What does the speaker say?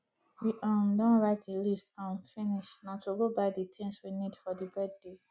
we um don write the list um finish na to go buy the things we need for the birthday